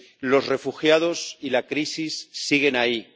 Los refugiados y la crisis siguen ahí.